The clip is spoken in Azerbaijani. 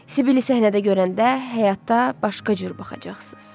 Sibili səhnədə görəndə həyatda başqa cür baxacaqsınız.